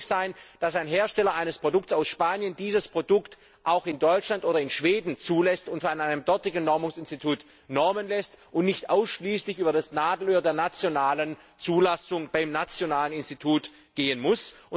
Es muss möglich sein, dass ein Hersteller eines Produkts aus Spanien dieses Produkt auch in Deutschland oder in Schweden zulassen und von einem dortigen Normungsinstitut normen lässt und nicht ausschließlich über das Nadelöhr der nationalen Zulassung beim nationalen Institut gehen muss.